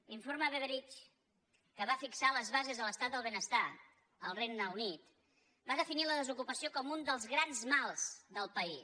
l’informe beveridge que va fixar les bases de l’estat del benestar al regne unit va definir la desocupació com un dels grans mals del país